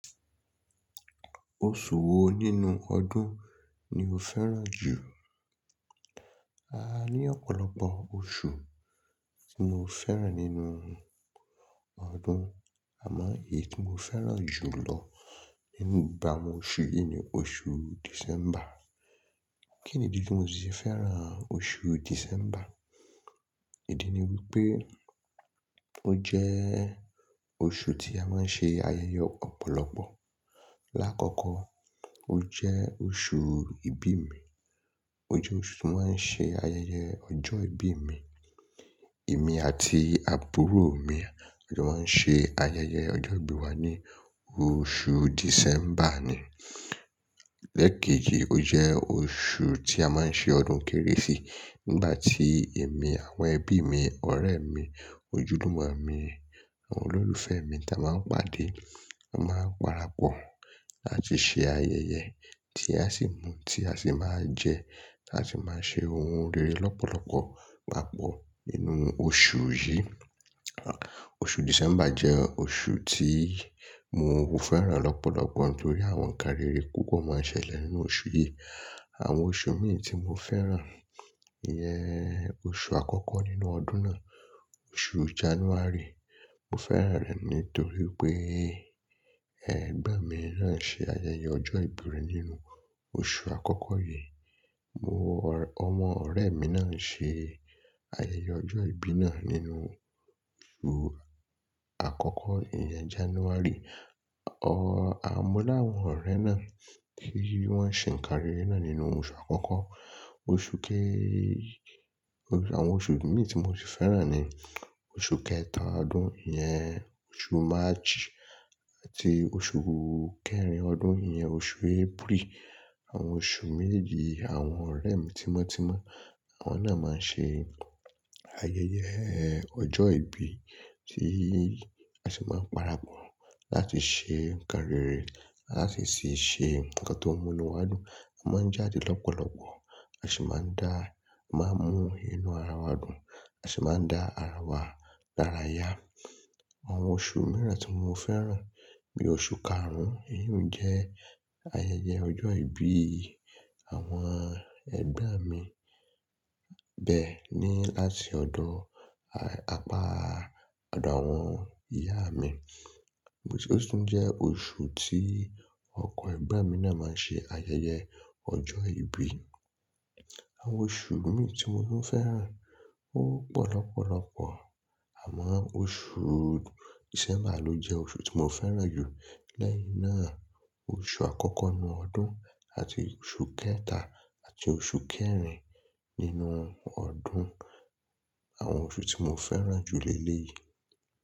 Oṣù wo nínú ọdún ni o fẹ́ràn jù? A ní ọ̀pọ̀lọpọ̀ oṣù tí mo fẹ́ràn nínú ọdún, àmọ́ èyí tí mo fẹ́ràn jù lọ nínú gbogbo àwọn oṣù yìí ni oṣù December. Kí nìdí tí mo sì fi fẹ́ràn oṣù December? Ìdí ni wípé ó jẹ́ oṣù tí a máa ń ṣe ayẹyẹ ọ̀pọ̀lọpọ̀. Láàkọ́kọ́ ó jẹ́ oṣù ìbí mi. Ó jẹ́ oṣù tí mo maa n ṣe ayẹyẹ ọjọ́ ìbí mi. Èmi àti àbúrò mi ni wón ṣe ayẹyẹ ọjọ́ ìbí wa ní oṣù December ni. Lẹ́ẹ̀kejì ó jẹ́ oṣù tí a máa ń ṣe ọdún kérésì. Nígbà tí èmi, àwọn ẹbí mi, ọ̀rẹ́ mi, ojúlùmọ̀ mi, àwọn olólùfẹ́ mi tí a máa ń pàdé máa ń parapọ̀ láti ṣe ayẹyẹ tí a sì mú, tí a sì máa jẹ, tí a sì máa ṣe ohun rere lọ́pọ̀lọpọ̀ papọ̀ nínú oṣù yìí. Oṣù December jẹ́ oṣù tí mo fẹ́ràn lọ́pọ̀lọpọ̀ nítorí àwọn ǹkarere púpọ̀ máa ń ṣẹlẹ̀ nínú oṣù yìí. Àwọn oṣù mí ì tí mo fẹ́ràn iyẹn oṣù àkọ́kọ́ nínú ọdún náà, oṣù January. Mo fẹ́ràn rẹ̀ nítorí pé ẹgbọ́n mi náà ṣe ayẹyẹ ọjọ́ ìbí rẹ̀ nínú oṣù àkọ́kọ́ yìí. Mo-- ọmọ ọ̀rẹ́ mi náà ṣe ayẹyẹ ọjọ́ ìbí náà nínú oṣù àkọ́kọ́ iyẹn January. Ọ̀ á mo láwọn ọ̀rẹ́ náà tí wọ́n se ń kan rere náà nínú oṣù àkọ́kọ́. Oṣù ké-- àwọn oṣù mí ì tí mo sì fẹ́ràn ni oṣù kẹta ọdún iyẹn oṣù March àti oṣù kẹrin ọdún iyẹn oṣù April. Àwọn oṣù mejeji yii àwọn ọ̀rẹ́ mi tímọ́tímọ́, àwọn náà máa ṣe ayẹyẹ ọjọ́ ìbí tí a sì máa ń parapọ̀ láti ṣe ǹkanrere láti tì ṣe nǹkan tó múni wá dùn. A máa ń jáde lọ́pọ̀lọpọ̀, a sì máa ń dá, máa ń mú inú ara wa dùn, a sì máa ń dá ara wa lára yá. Àwọn oṣù mìíràn tí mo fẹ́ràn bí i oṣù karùn-ún, èyíun jẹ́ ayẹyẹ ọjọ́ ìbí àwọn ẹgbọ́n mi bẹ́ẹ ni áti ọdọ̀ apa ọ̀dọ̀ àwọn ìyá mi. Òtún jẹ́ oṣù tí ọkọ egban mi náà máa n ṣe ayẹyẹ ọjọ́ ìbí. Àwọn oṣù mí ì tí mo fẹ́ràn ó pọ̀ lọ́pọ̀lọpọ̀ àmọ́ oṣù December ló jẹ́ oṣù tí mo fẹ́ràn jù. Lẹ́yìn náà oṣù àkọ́kọ́ nínú ọdún àti oṣù kẹta àti oṣù kẹrin nínú ọdún àwọn oṣù tí mo fẹ́ràn jù lé léyìí.